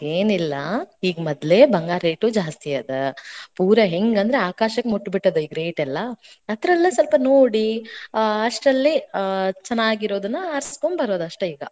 ಹಂಗೇನಿಲ್ಲಾ. ಈಗ್ ಮೊದ್ಲೇ ಬಂಗಾರ್ದ್ rate ಜಾಸ್ತಿ ಅದ, ಪೂರಾ ಹೆಂಗಂದ್ರ ಆಕಾಶಕ್ ಮುಟ್ ಬಿಟ್ಟದ್ ಈಗ rate ಲ್ಲಾ, ಅದರಲ್ಲೇ ಸ್ವಪ್ ನೋಡಿ, ಆ~ ಅಷ್ಟರಲ್ಲೇ ಚೆನ್ನಾಗಿರೋದ್ನಾ ಆ~ ಆರ್ಸಿಗೊಂಡ ಬರೋದ್ ಅಷ್ಟೇ ಈಗಾ.